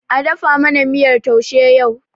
A dafa mana miyar taushe yau.!